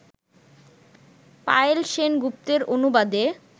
পায়েল সেন গুপ্তের অনুবাদে